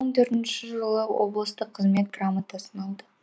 мың төртінші жылы облыстық құрмет грамотасын алды